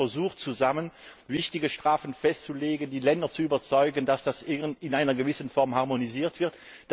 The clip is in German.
Wir haben ja versucht, zusammen wichtige Strafen festzulegen, die Länder zu überzeugen, dass das in einer gewissen Form harmonisiert wird.